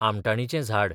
आमटाणीचें झाड